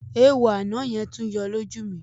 Eéwo àná yẹn tún yọ lójú mi.